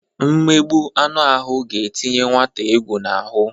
Mmegbụ anụ ahụ ga-etinye nwata egwu n'ahụ.